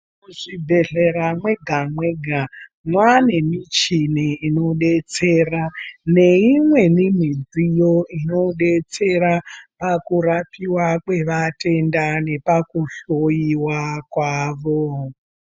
Muzvibhehlera mwega mwega mwaane michini inodetsera neimweni midziyo inodetsera pakurapiwa kwevatenda nepaku hloyiwa kwavo.